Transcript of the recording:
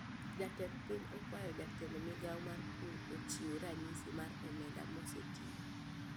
Jatend piny okwayo jatend migao mar pur ochiu ranyisi mar omenda mosetiyo